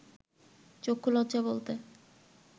চক্ষুলজ্জা বলতে